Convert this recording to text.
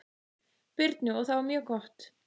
Birnu og það var mjög gott.